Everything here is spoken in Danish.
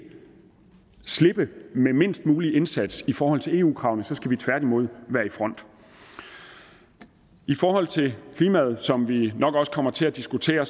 slippe med mindst mulig indsats i forhold til eu kravene men så skal man tværtimod være i front i forhold til klimaet som vi nok også kommer til at diskutere er